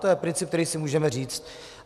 To je princip, který si můžeme říct.